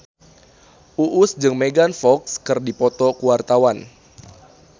Uus jeung Megan Fox keur dipoto ku wartawan